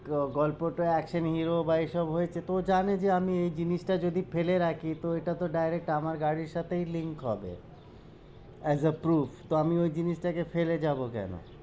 গল্পটা action hero বা এইসব হয়েছে তো জানে যে আমি এই জিনিস যদি ফেলে রাখি তো এটা তো direct আমার গাড়ির সাথেই link হবে as a proof তো আমি ওই জিনিস টা কে ফেলে যাব কেন?